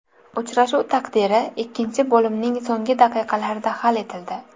Uchrashuv taqdiri ikkinchi bo‘limning so‘nggi daqiqalarida hal etildi.